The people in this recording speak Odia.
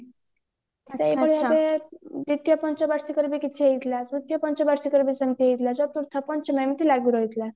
ଦ୍ଵିତୀୟ ପଞ୍ଚ ବାର୍ଷିକରେ ବି ସେମତି ହେଇଥିଲା ଚତୁର୍ଥ ପଞ୍ଚମ ଏମତି ଲାଗି ରହିଥିଲା